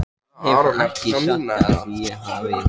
Ég hef ekki sagt að ég hafni því.